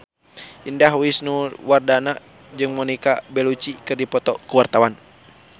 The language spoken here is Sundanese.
Indah Wisnuwardana jeung Monica Belluci keur dipoto ku wartawan